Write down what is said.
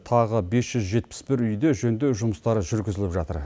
тағы бес жүз жетпіс бір үйде жөндеу жұмыстары жүргізіліп жатыр